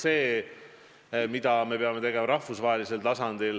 Teine vaade on see, mida me peame tegema rahvusvahelisel tasandil.